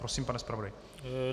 Prosím, pane zpravodaji.